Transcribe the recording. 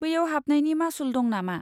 बैयाव हाबनायनि मासुल दं नामा?